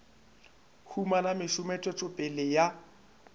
humana mešomo tswetšo pele ya